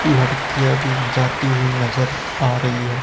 लड़कियां भी जाती हुई नजर आ रही है।